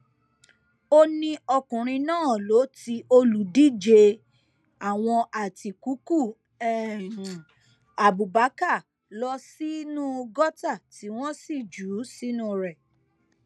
ó ní ọkùnrin náà ló ti olùdíje àwọn àtikukú abubakar lọ sínú gọtà tí wọn sì jù ú sínú rẹ